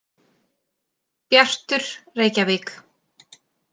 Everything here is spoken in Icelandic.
Bjartur, Reykjavík.